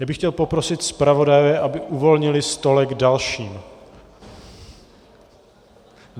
Já bych chtěl poprosit zpravodaje, aby uvolnili stolek dalším.